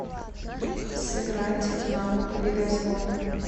сыграть в навык лидозвон